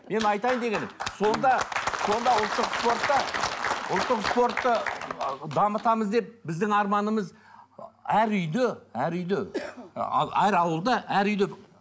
менің айтайын дегенім сонда сонда ұлттық спортта ұлттық спортты дамытамыз деп біздің арманымыз әр үйде әр үйде әр ауылда әр үйде